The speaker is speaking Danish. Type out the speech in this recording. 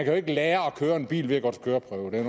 jo ikke lære at køre bil ved at gå til køreprøve det er